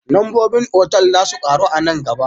Lambobin otal za su karu a nan gaba